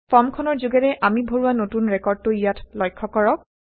ফৰ্মখনৰ যোগেৰে অামি ভৰোৱা নতুন ৰেকৰ্ডটো ইয়াত লক্ষয়160কৰক